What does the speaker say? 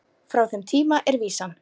Frá þeim tíma er vísan